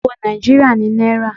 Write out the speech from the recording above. Owó Nàìjíríà ni náírà.